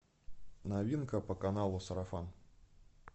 новинка по каналу сарафан